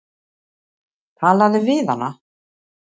Talaðu við hana.